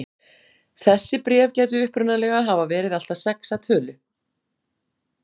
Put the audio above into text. þessi bréf gætu upprunalega hafa verið allt að sex að tölu